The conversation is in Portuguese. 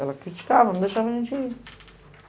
Ela criticava, não deixava a gente ir.